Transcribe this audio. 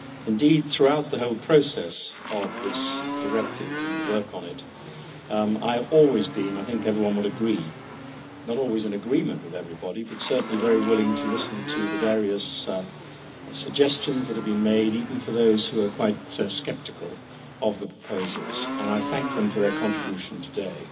Indeed, throughout the whole process of this Directive and the work on it, I have always been and I think everyone would agree not always in agreement with everybody, but certainly very willing to listen to the various suggestions that have been made, even for those who are quite sceptical of the proposals, and I thank them for their contribution today.